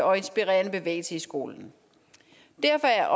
og inspirerende bevægelse i skolen derfor er